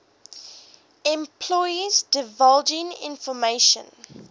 employees divulging information